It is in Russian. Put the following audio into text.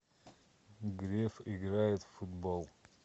греф играет в футбол